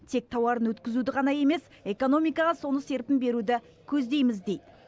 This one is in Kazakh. тек тауарын өткізуді ғана емес экономикаға соны серпін беруді көздейміз дейді